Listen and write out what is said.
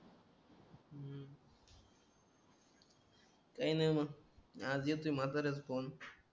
काय नाही मग आज येतोय म्हाताऱ्याचा फोन